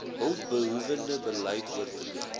hulpbehoewende beleid oortree